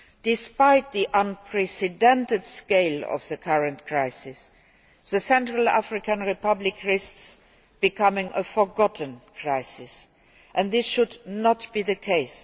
Despite the unprecedented scale of the current crisis, the Central African Republic risks becoming a forgotten crisis and this should not be the case.